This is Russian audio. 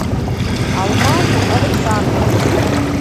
алмазу александровичу